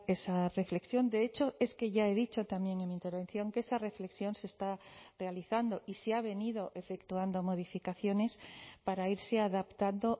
esa reflexión de hecho es que ya he dicho también en mi intervención que esa reflexión se está realizando y se ha venido efectuando modificaciones para irse adaptando